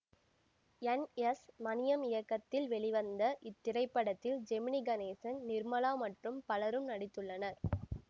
என் S Maniam இயக்கத்தில் வெளிவந்த இத்திரைப்படத்தில் ஜெமினி கணேசன் நிர்மலா மற்றும் பலரும் நடித்துள்ளனர்